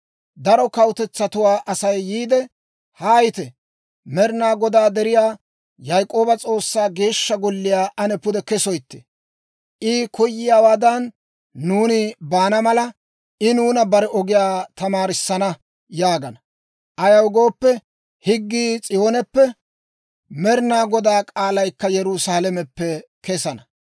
Daro kawutetsatuwaa Asay yiide, «Haayite; Med'ina Godaa deriyaa, Yaak'ooba S'oossaa Geeshsha Golliyaa ane pude kesoytte. I koyiyaawaadan nuuni baana mala, I nuuna bare ogiyaa tamaarissana» yaagana. Ayaw gooppe, higgii S'iyooneppe, Med'inaa Godaa k'aalaykka Yerusaalameppe kesana.